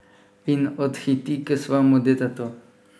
In odhiti k svojemu detetu.